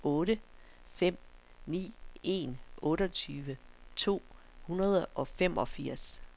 otte fem ni en otteogtyve to hundrede og femogfirs